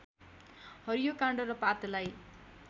हरियो काण्ड र पातलाई